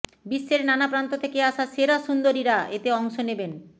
বিশ্বের নানা প্রান্ত থেকে আসা সেরা সুন্দরীরা এতে অংশ নেবেন